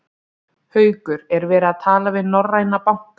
Haukur: Er verið að tala við norræna banka?